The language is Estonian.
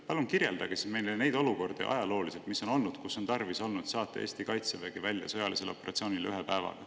Palun kirjeldage meile ajaloost neid olukordi, kus on tarvis olnud saata Eesti kaitsevägi välja sõjalisele operatsioonile ühe päevaga.